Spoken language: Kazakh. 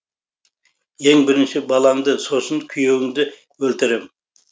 ең бірінші балаңды сосын күйеуіңді өлтірем